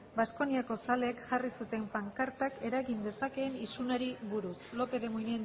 baskoniako zaleek jarri zuten pankartak eragin dezakeen isunari buruz lópez de munain